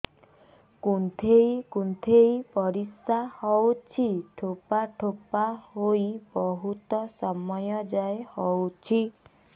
କୁନ୍ଥେଇ କୁନ୍ଥେଇ ପରିଶ୍ରା ହଉଛି ଠୋପା ଠୋପା ହେଇ ବହୁତ ସମୟ ଯାଏ ହଉଛି